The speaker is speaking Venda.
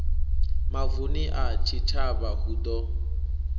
mavu a tshitshavha hu ḓo